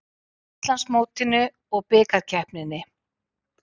Íslandsmótinu og Bikarkeppninni.